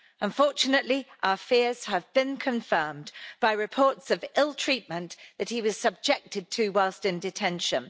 Unfortunately, our fears have been confirmed by reports of ill treatment that he was subjected to whilst in detention.